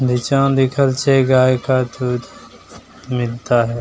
नीचा में लिखल छै गाय का दुध मिलता है ।